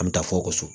An bɛ taa fɔ so